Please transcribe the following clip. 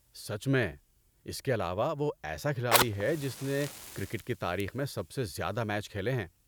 سچ میں۔ اس کے علاوہ وہ ایسا کھلاڑی ہے جس نے کرکٹ کی تاریخ میں سب سے زیادہ میچ کھیلے ہیں۔